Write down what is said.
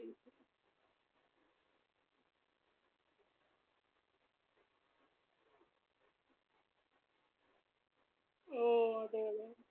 ആഹ് അതെയല്ലേ